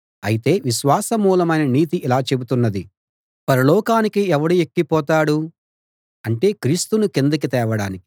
అయితే విశ్వాసమూలమైన నీతి ఇలా చెబుతున్నది పరలోకానికి ఎవడు ఎక్కిపోతాడు అంటే క్రీస్తును కిందకి తేవడానికి